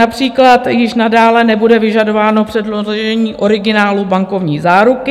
Například již nadále nebude vyžadováno předložení originálu bankovní záruky.